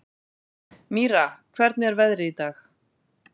Mýra, hvernig er veðrið í dag?